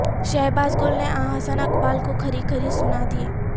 شہبازگل نے احسن اقبال کو کھری کھر ی سنا دیں